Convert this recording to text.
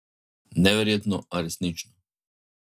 Neverjetno, a resnično ...